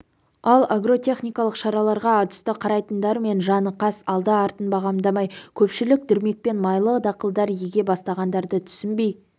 ал агротехникалық шараларға атүсті қарайтындармен жаны қас алды-артын бағамдамай көпшілік дүрмекпен майлы дақылдар еге бастағандарды түсінбей